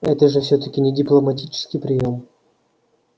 это же всё-таки не дипломатический приём